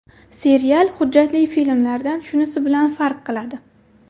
Serial, hujjatli filmlardan shunisi bilan farq qiladi.